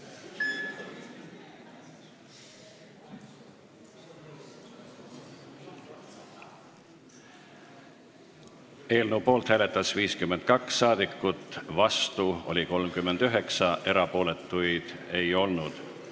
Hääletustulemused Eelnõu poolt hääletas 52 rahvasaadikut, vastu oli 39, erapooletuid ei olnud.